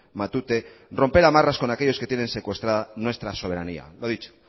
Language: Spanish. matute romper a marras con aquellos que tienen secuestrada nuestra soberanía lo dicho